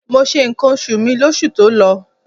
Mo se ǹkan oṣù mi lóṣù tó lọ.